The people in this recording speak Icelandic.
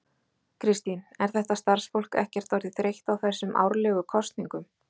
Kristín, er þetta starfsfólk ekkert orðið þreytt á þessum árlegu kosningum?